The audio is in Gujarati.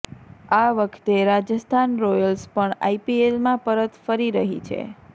આ વખતે રાજસ્થાન રોયલ્ય પણ આઈપીએલમાં પરત ફરી રહી છે